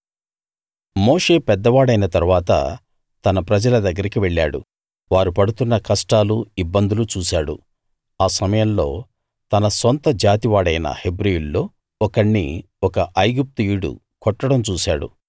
మోషే పెద్దవాడైన తరువాత తన ప్రజల దగ్గరికి వెళ్ళాడు వారు పడుతున్న కష్టాలు ఇబ్బందులు చూశాడు ఆ సమయంలో తన సొంత జాతి వాడైన హెబ్రీయుల్లో ఒకణ్ణి ఒక ఐగుప్తీయుడు కొట్టడం చూశాడు